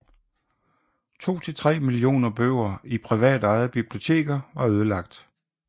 To til tre millioner bøger i privatejede biblioteker var ødelagt